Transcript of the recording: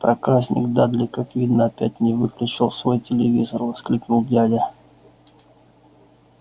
проказник дадли как видно опять не выключил свой телевизор воскликнул дядя